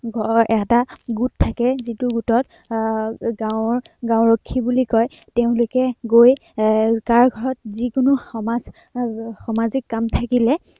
এৰ এটা গোাট থাকে, যিটো গোটক আহ গাঁৱৰ গাওঁৰক্ষী বুলি কয়। তেওঁলোকে গৈ এৰ যাৰ ঘৰত যিকোনো সমাজ এৰ সামাজিক কাম থাকিলে